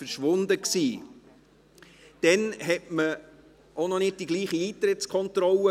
Damals hatte man auch noch nicht die gleiche Eintrittskontrolle.